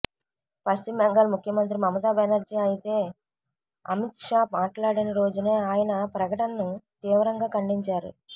పశ్చిమ బెంగాల్ ముఖ్యమంత్రి మమతా బెనర్జీ అయితే అమిత్షా మాట్లాడిన రోజునే ఆయన ప్రకటనను తీవ్రంగా ఖండించారు